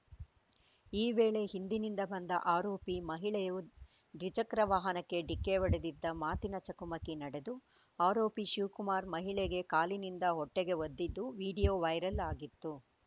ಈ ವೇಳೆ ಹಿಂದಿನಿಂದ ಬಂದ ಆರೋಪಿ ಮಹಿಳೆಯು ದ್ವಿಚಕ್ರ ವಾಹನಕ್ಕೆ ಡಿಕ್ಕಿ ಹೊಡೆದಿದ್ದ ಮಾತಿನ ಚಕಮಕಿ ನಡೆದು ಆರೋಪಿ ಶಿವಕುಮಾರ್‌ ಮಹಿಳೆಗೆ ಕಾಲಿನಿಂದ ಹೊಟ್ಟೆಗೆ ಒದ್ದಿದ್ದ ವಿಡಿಯೋ ವೈರಲ್‌ ಆಗಿತ್ತು